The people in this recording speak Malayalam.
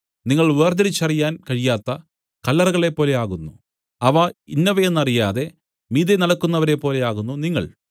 നിങ്ങൾ വേർതിരിച്ചറിയാൻ കഴിയാത്ത കല്ലറകളെപ്പോലെ ആകുന്നു അവ ഇന്നവയെന്നറിയാതെ മീതെ നടക്കുന്നവരെപ്പോലെയാകുന്നു നിങ്ങൾ